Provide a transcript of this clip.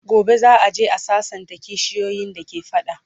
gobe za'a je a sassanta kishiyoyin da ke fada